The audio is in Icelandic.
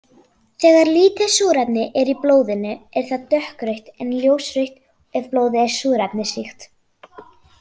Þegar lítið súrefni er í blóðinu er það dökkrautt en ljósrautt ef blóðið er súrefnisríkt.